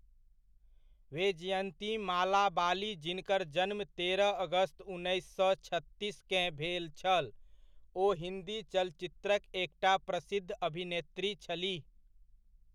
वेजयन्ती माला बाली जिनकर जन्म तेरह अगस्त उन्नैस सए छत्तीसकेँ भेल छल, ओ हिन्दी चलचित्रक एकटा प्रसिद्ध अभिनेत्री छलीह।